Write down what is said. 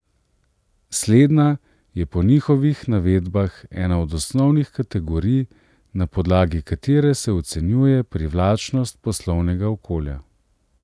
Slednja je po njihovih navedbah ena od osnovnih kategorij, na podlagi katere se ocenjuje privlačnost poslovnega okolja.